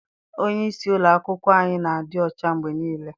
Onyeisi ụlọakwụkwọ anyị na-adị ọcha mgbe niile.